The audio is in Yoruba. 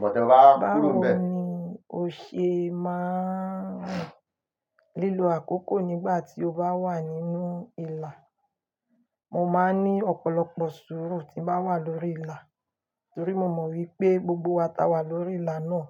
Báwo ni o ṣe máa ń rin lílo àkókò nígbà tí o bá wà nínú ìlà? Mo máa ń ní ọ̀pọ̀lọpọ̀ sùúrù tí ń bá wà lórí ìlà torí mo mọ̀ wípé gbogbo wa ta wà lórí ìlà náà,